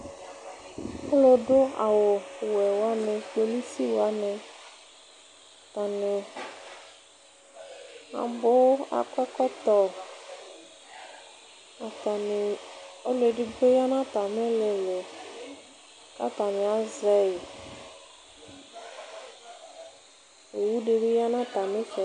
alò du awu wɛ wani kpolusi wani atani abò akɔ ɛkɔtɔ atani ɔlò edigbo ya n'atami ilili k'atani azɛ yi owu di bi ya n'atami itsɛdi.